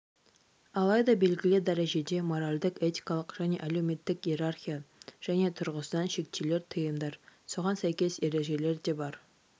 алайда белгілі дәрежеде моральдік-этикалық және әлеуметтік иерархия және тұрғысынан шектеулер тыйымдар соған сәйкес ережелер де бар